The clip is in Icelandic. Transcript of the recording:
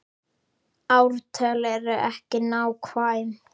Ártöl eru ekki nákvæm.